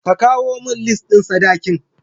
Ka kawo min lis ɗin sadakin.